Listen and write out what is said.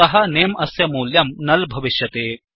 अतः नमे अस्य मूल्यं नुल् भविष्यति